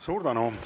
Suur tänu!